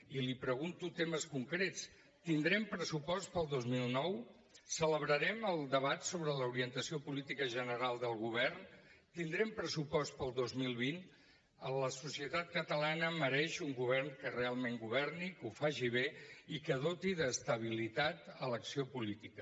i li pregunto temes concrets tindrem pressupost per al dos mil dinou celebrarem el debat sobre l’orientació política general del govern tindrem pressupost per al dos mil vint la societat catalana mereix un govern que realment governi que ho faci bé i que doti d’estabilitat l’acció política